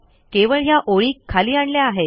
केवळ ह्या ओळी खाली आणल्या आहेत